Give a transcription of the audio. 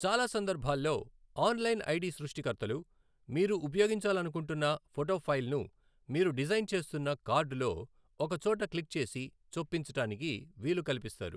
చాలా సందర్భాల్లో, online ID సృష్టికర్తలు మీరు ఉపయోగించాలనుకుంటున్న ఫోటో ఫైల్ను మీరు డిజైన్ చేస్తున్న కార్డు లో ఒక చోట క్లిక్ చేసి చొప్పించడానికి వీలు కల్పిస్తారు.